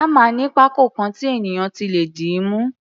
Hámà ní pákó kan tí ènìyàn ti lè dìímú.